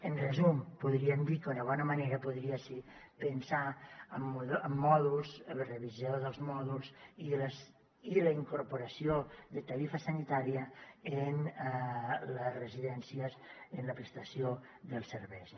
en resum podríem dir que una bona manera podria ser pensar en mòduls en la revisió dels mòduls i la incorporació de tarifa sanitària en les residències en la prestació dels serveis